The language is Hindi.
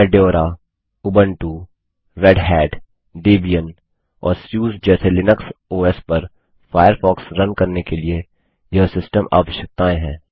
फेडोरा ubuntuरेड hatडेबियन और सुसे जैसे लिनक्स ओएस पर फ़ायरफ़ॉक्स रन करने के लिए यह सिस्टम आवश्यकताएं हैं